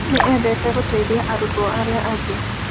Nĩ eendete gũteithia arutwo arĩa angĩ.